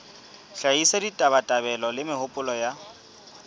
hlahisa ditabatabelo le mehopolo ya